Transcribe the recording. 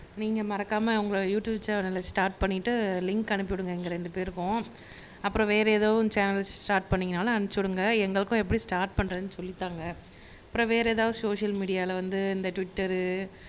நீங்க மறக்காம உங்களை யுடுயூப் சேனல ஸ்டார்ட் பண்ணிட்டு லிங்க் அனுப்பிவிடுங்க எங்க ரெண்டு பேருக்கும் அப்புறம் வேற ஏதோ சேனல்ஸ் ஸ்டார்ட் பண்ணிங்கனாலும் அனுப்பிச்சுவிடுங்க எங்களுக்கும் எப்படி ஸ்டார்ட் பண்றதுன்னு சொல்லித்தாங்க. அப்புறம் வேற ஏதாவது சோசியல் மீடியால வந்து இந்த டுவிட்டர்